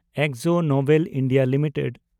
Akzo Nobel India limited